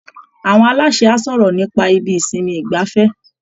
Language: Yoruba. Àwọn aláṣẹ á sọ̀rọ̀ nípa ibi ìsinmi ìgbafẹ́